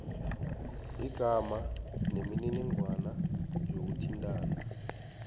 igama nemininingwana yokuthintana